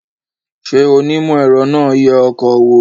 Ṣé onímọ̀-ẹ̀rọ náà ń yẹ ọkọ̀ wò